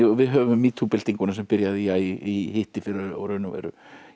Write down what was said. við höfum metoo byltinguna sem byrjaði í hittifyrra og í raun og veru